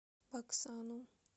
баксану